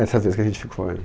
Essa vez que a gente ficou.